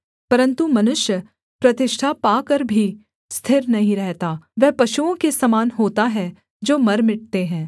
परन्तु मनुष्य प्रतिष्ठा पाकर भी स्थिर नहीं रहता वह पशुओं के समान होता है जो मर मिटते हैं